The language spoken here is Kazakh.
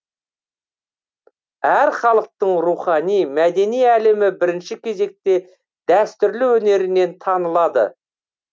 әр халықтың рухани мәдени әлемі бірінші кезекте дәстүрлі өнерінен танылады